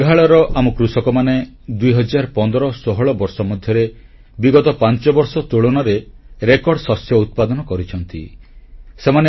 ମେଘାଳୟର ଆମ କୃଷକମାନେ 201516 ବର୍ଷ ମଧ୍ୟରେ ବିଗତ ପାଞ୍ଚବର୍ଷ ତୁଳନାରେ ରେକର୍ଡ ଶସ୍ୟ ଉତ୍ପାଦନ କରିଛନ୍ତି